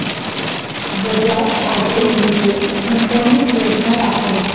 Bajaj auto limited गुंतवणूक योजना दाखव